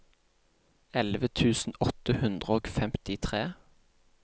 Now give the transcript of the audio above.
elleve tusen åtte hundre og femtitre